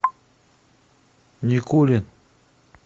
никулин